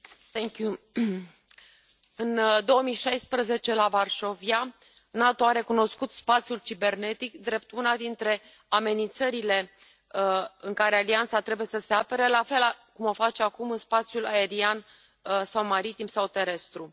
Doamna președintă, în 2016, la Varșovia, NATO a recunoscut spațiului cibernetic drept una dintre amenințările în care alianța trebuie să se apere, la fel cum o face acum în spațiul aerian, maritim sau terestru.